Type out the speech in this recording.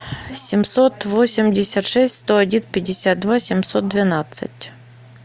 семьсот восемьдесят шесть сто один пятьдесят два семьсот двенадцать